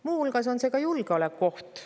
Muu hulgas on see ka julgeolekuoht.